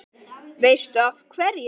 Veistu af hverju?